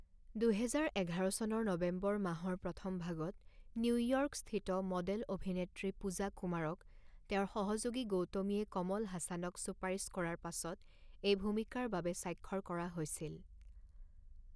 দুহেজাৰ এঘাৰ চনৰ নৱেম্বৰ মাহৰ প্ৰথমভাগত নিউ ইয়ৰ্ক স্থিত মডেল অভিনেত্ৰী পূজা কুমাৰক তেওঁৰ সহযোগী গৌতমীয়ে কমল হাসানক চুপাৰিচ কৰাৰ পাছত এই ভূমিকাৰ বাবে স্বাক্ষৰ কৰা হৈছিল।